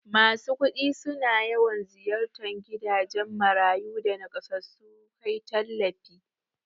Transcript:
Masu kudi suna yawan ziyartan gidajan marayu da nakasassu kai tallafi